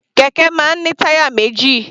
Kẹ̀kẹ́ máa ń ní táyà méjì.